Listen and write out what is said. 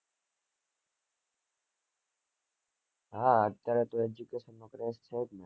હ અત્યારે તો education નું